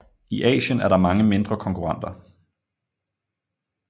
I Asien er der mange mindre konkurrenter